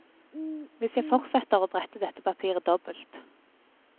Hvis jeg fortsetter å brette dette papiret dobbelt.